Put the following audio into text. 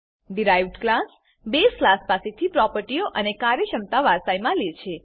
derived class base class પાસેથી પ્રોપર્ટીઓ અને કાર્યક્ષમતા વારસાઈમાં લે છે